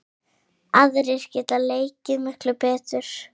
Aðrir geta leikið miklu betur.